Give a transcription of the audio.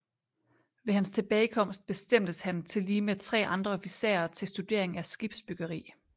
Ved hans tilbagekomst bestemtes han tillige med 3 andre officerer til studering af skibsbyggeri